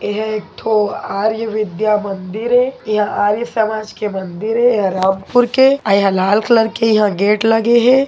ये हा एक ठो आर्य विद्या मंदिर हे ये ह आर्य समाज के मंदिर हे ये ह रामपुर के अउ ये ह लाल कलर के यह गेट लगे हे।